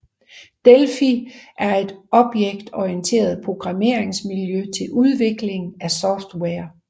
Delphi er et objektorienteret programmeringsmiljø til udvikling af software